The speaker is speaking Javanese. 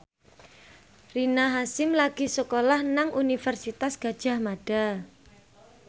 Rina Hasyim lagi sekolah nang Universitas Gadjah Mada